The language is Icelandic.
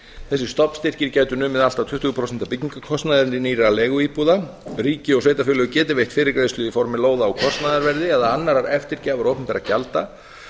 þessir stofnstyrkir gætu numið allt að tuttugu prósent af byggingarkostnaði nýrra leiguíbúða ríki og sveitarfélög geti veitt fyrirgreiðslu í formi lóða á kostnaðarverði eða annarrar eftirgjafar opinberra gjalda